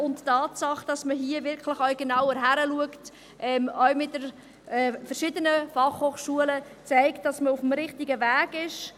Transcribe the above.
Die Tatsache, dass man hier wirklich auch genauer hinschaut, auch mit den verschiedenen Fachhochschulen, zeigt, dass man auf dem richtigen Weg ist.